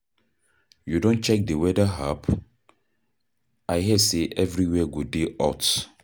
You don check the weather app? I hear sey everywhere go dey hot.